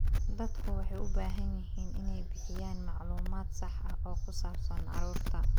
Dadku waxay u baahan yihiin inay bixiyaan macluumaad sax ah oo ku saabsan carruurta.